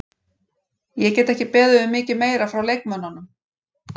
Ég get ekki beðið um mikið meira frá leikmönnunum.